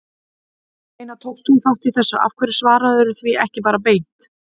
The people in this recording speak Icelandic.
En ég meina, tókst þú þátt í þessu, af hverju svararðu því ekki bara beint?